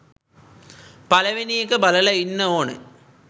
පළවෙනි එක බලල ඉන්න ඕනෙ